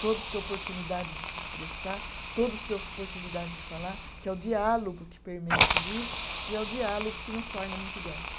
Todos têm oportunidade de se expressar, todos têm oportunidade de falar, que é o diálogo que permeia tudo isso e é o diálogo que nos torna muito iguais.